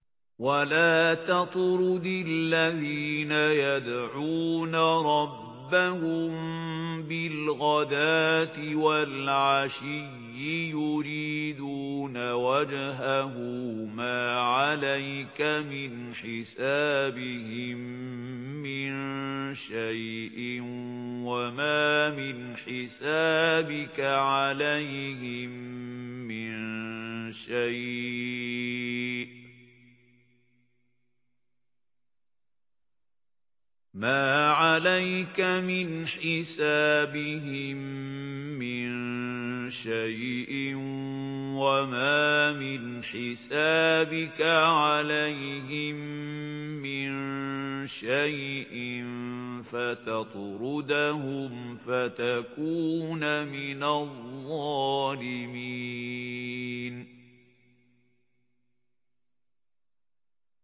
وَلَا تَطْرُدِ الَّذِينَ يَدْعُونَ رَبَّهُم بِالْغَدَاةِ وَالْعَشِيِّ يُرِيدُونَ وَجْهَهُ ۖ مَا عَلَيْكَ مِنْ حِسَابِهِم مِّن شَيْءٍ وَمَا مِنْ حِسَابِكَ عَلَيْهِم مِّن شَيْءٍ فَتَطْرُدَهُمْ فَتَكُونَ مِنَ الظَّالِمِينَ